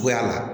Cogoya la